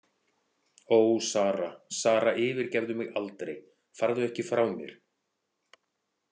Ó, Sara, Sara, yfirgefðu mig aldrei, farðu ekki frá mér.